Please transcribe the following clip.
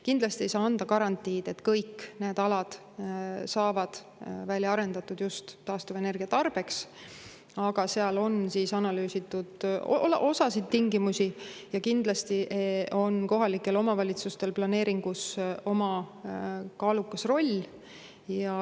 Kindlasti ei saa anda garantiid, et kõik need alad saavad välja arendatud just taastuvenergia tarbeks, aga seal on analüüsitud osa tingimusi ja kindlasti on kohalikel omavalitsustel planeeringus oma kaalukas roll.